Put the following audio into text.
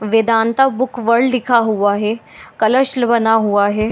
Vedanta book world लिखा हुआ है कलश बना हुआ है।